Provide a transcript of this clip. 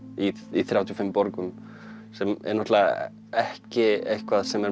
í þrjátíu og fimm borgum sem er náttúrulega ekki eitthvað sem er